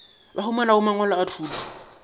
ba humanago mangwalo a thuto